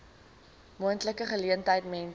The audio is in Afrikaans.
moontlike geleentheid mense